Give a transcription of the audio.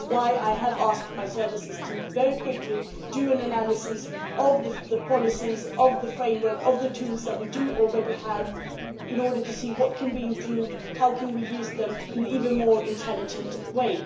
That is why I have asked my services to, very quickly, carry out an analysis of the policies, of the framework, of the tools that we already have, in order to see what can be improved and how we can use them in an even more intelligent way.